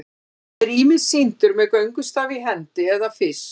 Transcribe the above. hann er ýmist sýndur með göngustaf í hendi eða fisk